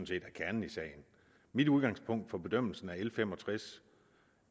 set er kernen i sagen mit udgangspunkt for bedømmelsen af l fem og tres